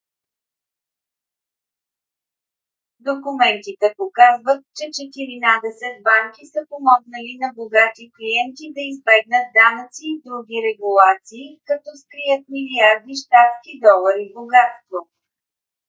документите показват че четиринадесет банки са помогнали на богати клиенти да избегнат данъци и други регулации като скрият милиарди щатски долари богатство